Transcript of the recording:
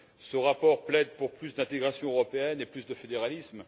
Ce rapport plaide pour plus d'intégration européenne et plus de fédéralisme.